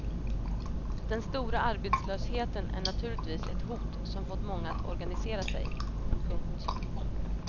Den stora arbetslösheten är naturligtvis ett hot som fått många att organisera sig. punkt